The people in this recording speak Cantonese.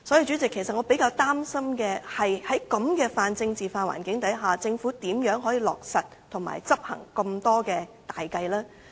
主席，其實我比較擔心在這種泛政治化環境下，政府如何落實及執行這麼多項大計？